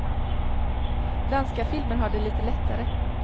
Danska filmer har det lite lättare.